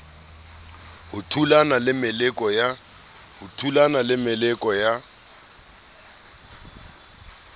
o thulana le meleko ya